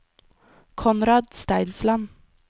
Konrad Steinsland